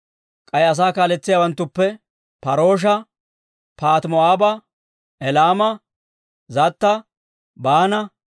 K'ay asaa kaaletsiyaawanttuppe: Par"oosha, Paahati-Moo'aaba, Elaama, Zatta, Baana,